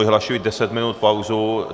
Vyhlašuji deset minut pauzu.